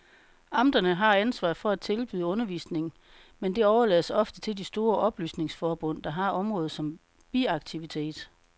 Amterne har ansvaret for at tilbyde undervisning, men det overlades ofte til de store oplysningsforbund, der har området som biaktivitet.